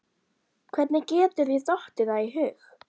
Hvernig getur þér dottið það í hug!